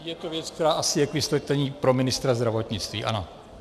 Je to věc, která asi je k vysvětlení pro ministra zdravotnictví, ano.